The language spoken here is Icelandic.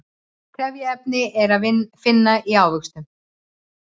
trefjaefni er að finna í ávöxtum